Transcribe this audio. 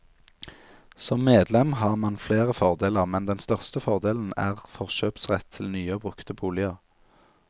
Som medlem har man flere fordeler, men den største fordelen er forkjøpsrett til nye og brukte boliger.